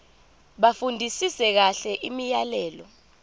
bafundisise kahle imiyalelo